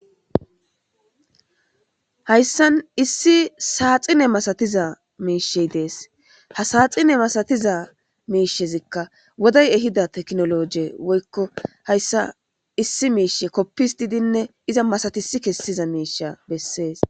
hayssan issi saaxine masatiza miishey dees ha saaxine masatiza miishezikka woday ehida teknoloje woykko hayssa issi miishe koppis didinne iza masatisi kessiza miisha bessees